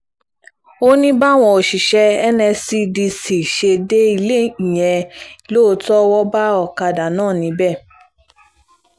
ó ní báwọn òṣìṣẹ́ nscdc ṣe dé ilé ìyẹn lóòótọ́ wọ́n bá ọ̀kadà náà níbẹ̀